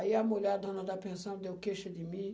Aí a mulher, a dona da pensão, deu queixa de mim.